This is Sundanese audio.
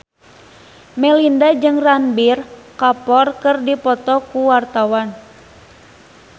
Melinda jeung Ranbir Kapoor keur dipoto ku wartawan